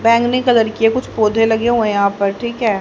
बैंगनी कलर के कुछ पौधे लगे हुए हैं यहां पर ठीक है।